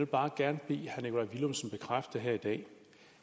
bare gerne bede herre nikolaj villumsen bekræfte her i dag